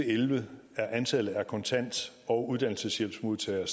elleve er antallet af kontant og uddannelseshjælpsmodtagere